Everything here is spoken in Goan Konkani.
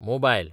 मोबायल